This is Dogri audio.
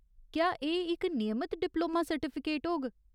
क्या एह् इक नियमत डिप्लोमा सर्टिफिकेट होग ?